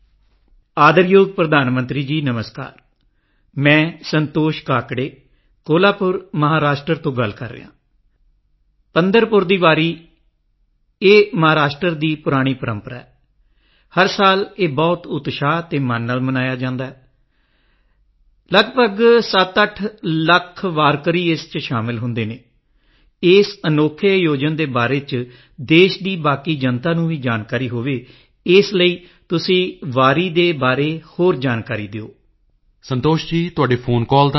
ਮੇਰੇ ਪਿਆਰੇ ਦੇਸ਼ਵਾਸੀਓ ਭਾਰਤ ਸੰਤਾਂ ਦੀ ਭੂਮੀ ਹੈ ਸਾਡੇ ਸੰਤਾਂ ਨੇ ਆਪਣੇ ਵਿਚਾਰਾਂ ਅਤੇ ਕੰਮਾਂ ਦੇ ਮਾਧਿਅਮ ਰਾਹੀਂ ਸਦਭਾਵਨਾ ਸਮਾਨਤਾ ਅਤੇ ਸਮਾਜਿਕ ਸਸ਼ਕਤੀਕਰਨ ਦਾ ਸੰਦੇਸ਼ ਦਿੱਤਾ ਹੈ ਅਜਿਹੇ ਹੀ ਇੱਕ ਸੰਤ ਸਨ ਸੰਤ ਰਵਿਦਾਸ 19 ਫਰਵਰੀ ਨੂੰ ਰਵਿਦਾਸ ਜਯੰਤੀ ਹੈ ਸੰਤ ਰਵਿਦਾਸ ਜੀ ਦੇ ਦੋਹੇ ਬਹੁਤ ਪ੍ਰਸਿੱਧ ਹਨ ਸੰਤ ਰਵਿਦਾਸ ਜੀ ਕੁਝ ਹੀ ਪੰਗਤੀਆਂ ਦੇ ਮਾਧਿਅਮ ਰਾਹੀਂ ਵੱਡੇ ਤੋਂ ਵੱਡਾ ਸੰਦੇਸ਼ ਦਿੰਦੇ ਸਨ ਉਨ੍ਹਾਂ ਨੇ ਕਿਹਾ ਸੀ